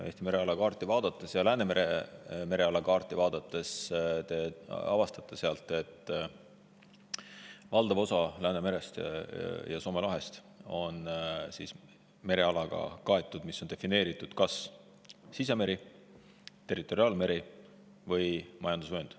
Eesti mereala kaarti vaadates ja Läänemere mereala kaarti vaadates te avastate sealt, et valdav osa Soome lahest ja muust Läänemerest on kaetud merealaga, mis on defineeritud kas kui sisemeri, territoriaalmeri või majandusvöönd.